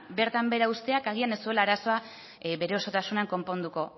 bertan behera uzteak agian ez duela arazoa bere osotasunean konponduko